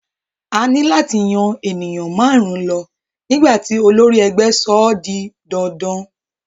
A ní láti yan ènìyàn márùn-ún lọ nígbà tí olórí ẹgbẹ́ sọ ọ́ di dandan.